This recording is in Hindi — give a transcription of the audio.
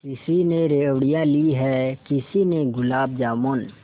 किसी ने रेवड़ियाँ ली हैं किसी ने गुलाब जामुन